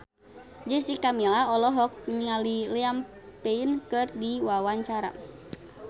Jessica Milla olohok ningali Liam Payne keur diwawancara